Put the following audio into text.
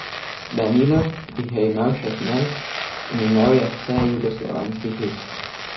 Danilo jih je imel šestnajst in imel je vsejugoslovanski hit.